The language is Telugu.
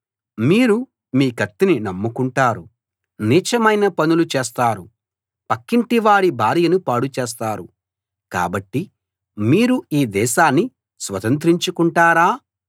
మీరు మీ కత్తిని నమ్ముకుంటారు నీచమైన పనులు చేస్తారు పక్కింటివాడి భార్యను పాడు చేస్తారు కాబట్టి మీరు ఈ దేశాన్ని స్వతంత్రించుకుంటారా